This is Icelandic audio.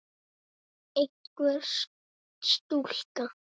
Einhver stúlka?